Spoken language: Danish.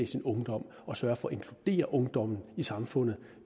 sin ungdom og sørge for at inkludere ungdommen i samfundet